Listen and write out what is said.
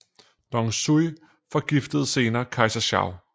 Dong Zhuo forgiftede senere kejser Shao